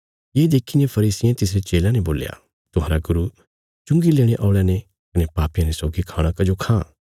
ये देखीने फरीसियें तिसरे चेलयां ने बोल्या तुहांरा गुरू चुंगी लेणे औल़यां ने कने पापियां ने सौगी खाणा कजो खां